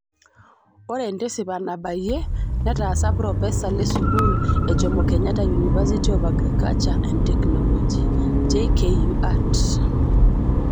Ore entisipa nabayie netasa propesa lesukul e jomo kenyatta University of Agriculture and Technology(JKUAT).